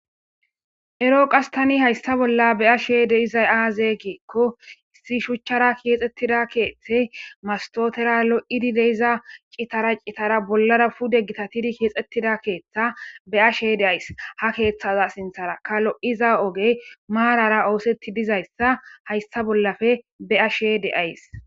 ero qastani haysta bolla be ashe deizay aazee geekko issi shuchchara keexxettida keeththey mastotera lo7idi deiza qitara qitara bollara pude gita tidi keexettida keeththa be ashe deays ha keeththaza sinthara ka lo7iza ogey maarara oosetti dizayssa haysta bollafe be ashe deays